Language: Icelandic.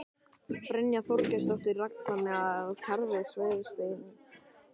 Brynja Þorgeirsdóttir: Þannig að kerfið er svifaseint?